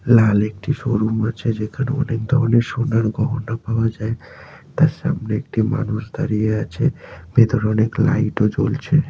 লাল একটি শোরুম আছে যেখানে অনেক ধরনের সোনার গহনা পাওয়া যায় । তার সামনে একটি মানুষ দাঁড়িয়ে আছে ভেতরে অনেক লাইট ও জ্বলছে।